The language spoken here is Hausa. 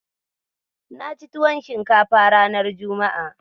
Na ci tuwon shinkafa ranar juma'a.